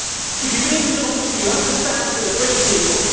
If you believe in democracy you have to stand with the British people.